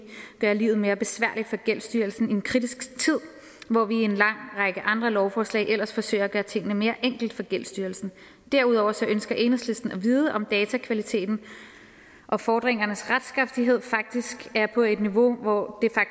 gør livet mere besværligt for gældsstyrelsen i en kritisk tid hvor vi i en lang række andre lovforslag ellers forsøger at gøre tingene mere enkelt for gældsstyrelsen derudover ønsker enhedslisten at vide om datakvaliteten og fordringernes retskraftighed faktisk er på et niveau hvor